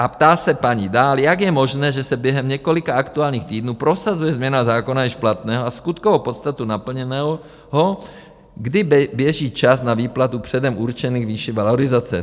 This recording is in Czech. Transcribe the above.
A ptá se paní dál: Jak je možné, že se během několika aktuálních týdnů prosazuje změna zákona již platného a skutkovou podstatu naplněného, kdy běží čas na výplatu předem určených výší valorizace?